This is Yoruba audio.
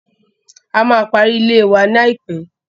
A máa pari ilée wa ní àìpé.